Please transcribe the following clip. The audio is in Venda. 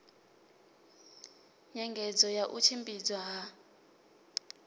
nyengedzo ya u tshimbidzwa ha